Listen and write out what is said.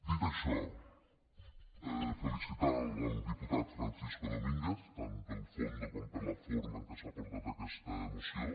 dit això felicitar el diputat francisco domínguez tant pel fons com per la forma en què s’ha portat aquesta moció